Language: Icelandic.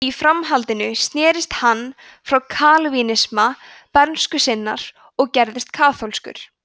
í framhaldinu snerist hann frá kalvínisma bernsku sinnar og gerðist kaþólskur